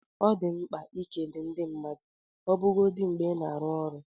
Ọ dị mkpa ikele ndị mmadụ ọbụgodi mgbe ị na-arụ ọrụ.